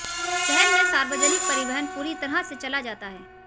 शहर में सार्वजनिक परिवहन पूरी तरह से चला जाता है